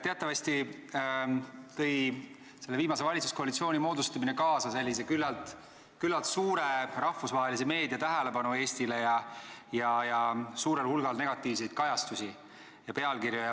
Teatavasti tõmbas selle viimase valitsuskoalitsiooni moodustamine Eestile küllalt palju rahvusvahelise meedia tähelepanu ning tõi kaasa suurel hulgal negatiivseid kajastusi ja pealkirju.